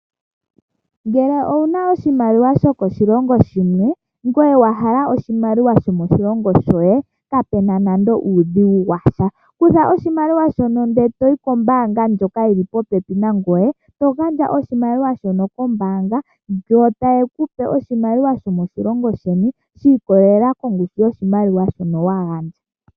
Ngele owu na oshimaliwa shokoshilongo shimwe ngoye wa hala oshimaliwa shomoshilongo shoye kapu na nando uudhigu wa sha. Kutha oshimaliwa shoka e to yi kombaanga ndjoka yi li popepi nangoye, to gandja oshimaliwa shoka kombaanga yo taye ku pe oshimaliwa shomoshilongo sheni shi ikwatelela kongushu yoshimaliwa shoka wa gandja.